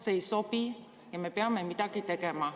See ei sobi ja me peame midagi tegema.